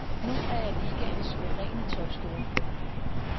Nu er jeg ligaens suveræne topscorer.